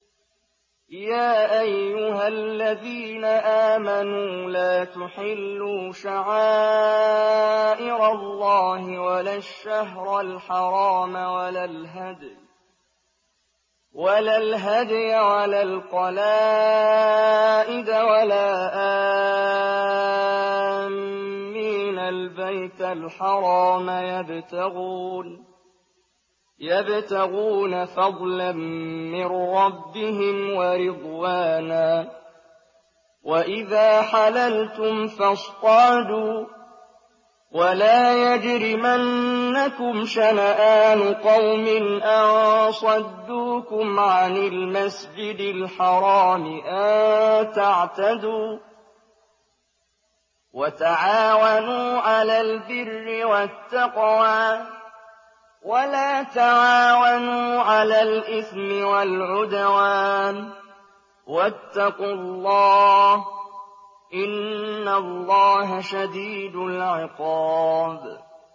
يَا أَيُّهَا الَّذِينَ آمَنُوا لَا تُحِلُّوا شَعَائِرَ اللَّهِ وَلَا الشَّهْرَ الْحَرَامَ وَلَا الْهَدْيَ وَلَا الْقَلَائِدَ وَلَا آمِّينَ الْبَيْتَ الْحَرَامَ يَبْتَغُونَ فَضْلًا مِّن رَّبِّهِمْ وَرِضْوَانًا ۚ وَإِذَا حَلَلْتُمْ فَاصْطَادُوا ۚ وَلَا يَجْرِمَنَّكُمْ شَنَآنُ قَوْمٍ أَن صَدُّوكُمْ عَنِ الْمَسْجِدِ الْحَرَامِ أَن تَعْتَدُوا ۘ وَتَعَاوَنُوا عَلَى الْبِرِّ وَالتَّقْوَىٰ ۖ وَلَا تَعَاوَنُوا عَلَى الْإِثْمِ وَالْعُدْوَانِ ۚ وَاتَّقُوا اللَّهَ ۖ إِنَّ اللَّهَ شَدِيدُ الْعِقَابِ